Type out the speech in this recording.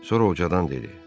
Sonra ucadan dedi.